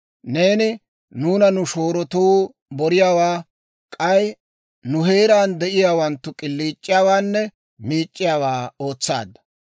Neeni nuuna nu shoorotuu boriyaawaa, k'ay nu heeraan de'iyaawanttu k'iliic'iyaawaanne miic'c'iyaawaa ootsaadda.